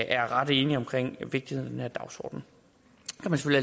er ret enige om vigtigheden af dagsordenen